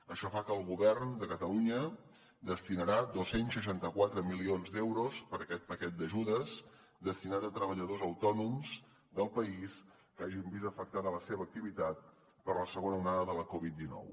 això fa que el govern de catalunya destini dos cents i seixanta quatre milions d’euros per aquest paquet d’ajudes destinat a treballadors autònoms del país que hagin vist afectada la seva activitat per la segona onada de la covid dinou